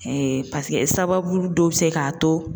sababu dɔ bi se k'a to